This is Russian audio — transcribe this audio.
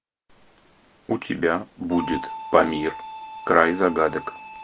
у тебя будет памир край загадок